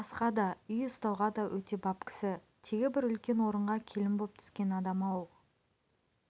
асқа да үй ұстауға да өте бап кісі тегі бір үлкен орынға келін боп түскен адам-ау